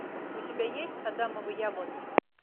у тебя есть адамовы яблоки